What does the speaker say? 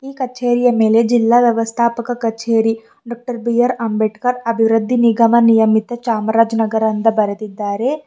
ಕಚೇರಿಯ ಮೇಲೆ ಜಿಲ್ಲಾ ವ್ಯವಸ್ಥಾಪರ ಕಛೇರಿ ಡಾ ಬಿ ಆರ್ ಅಂಬೇಡ್ಕರ್ ಅಭಿವೃದ್ಧಿ ನಿಗಮ ನಿಯಮಿತ ಚಾಮರಾಜನಗರ ಅಂತ ಬರೆದಿದ್ದಾರೆ.